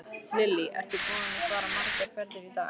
Lillý: Ertu búinn að fara margar ferðir í dag?